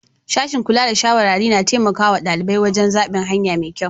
Sashin Kula da shawarari na taimakawa dalibai wajen zabin hanya mai kyau.